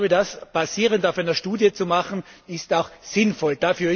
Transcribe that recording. Ich glaube, das basierend auf einer Studie zu machen, ist auch sinnvoll.